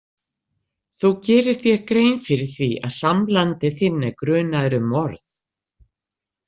Þú gerir þér grein fyrir því að samlandi þinn er grunaður um morð?